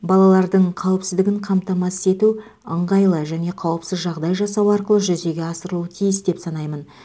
балалардың қауіпсіздігін қамтамасыз ету ыңғайлы және қауіпсіз жағдай жасау арқылы жүзеге асырылуы тиіс деп санаймын